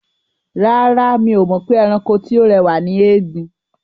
Rárá, mi ò mọ̀ pé ẹranko tí ó rẹwà ni ẹgbin.